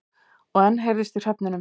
Og enn heyrðist í hröfnunum.